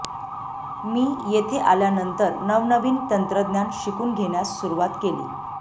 मी येथे आल्यानंतर नवनवीन तंत्रज्ञान शिकून घेण्यास सुरुवात केली